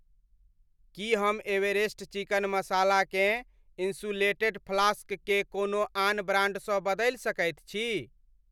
की हम Everest chicken मसालाकेँ insulated flask के कोनो आन ब्रान्डसँ बदलि सकैत छी ?